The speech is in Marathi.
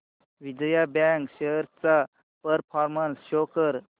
विजया बँक शेअर्स चा परफॉर्मन्स शो कर